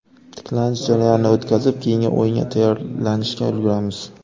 Tiklanish jarayonini o‘tkazib, keyingi o‘yinga tayyorlanishga ulguramiz.